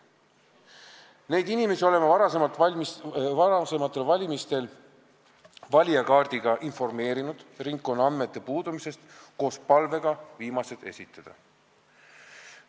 Neid inimesi oleme varasematel valimistel valijakaardi abil informeerinud ringkonnaandmete puudumisest koos palvega need esitada.